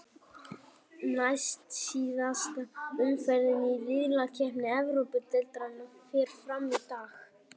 Næst síðasta umferðin í riðlakeppni Evrópudeildarinnar fer fram í dag.